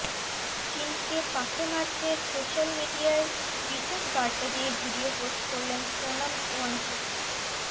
চিনকে পাতে মারতে সোশ্যাল মিডিয়ায় বিশেষ বার্তা দিয়ে ভিডিও পোস্ট করলেন সোনম ওয়াংচুক